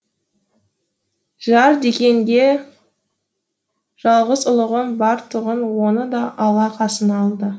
жар дегенде жалғыз ұлымыз бар тұғын оны да алла қасына алды